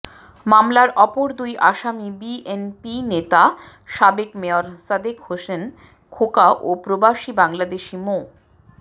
মামলার অপর দুই আসামি বিএনপি নেতা সাবেক মেয়র সাদেক হোসেন খোকা ও প্রবাসী বাংলাদেশী মো